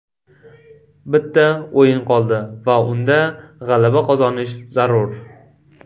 Bitta o‘yin qoldi va unda g‘alaba qozonish zarur.